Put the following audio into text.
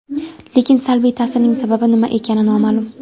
Lekin salbiy ta’sirning sababi nima ekani noma’lum.